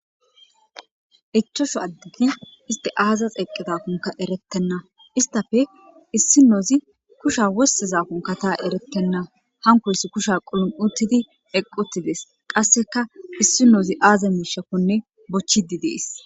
Ichashu addegi iste aaza eeqqizakonka erettenna istape issinoozi kusha wosseza kunka ta erettenna hanokoyso kusha quluphi uttidi eqquttides qasseka issinoozi aaza miishakkonne bochchidi dees.